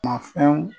Ma fɛnw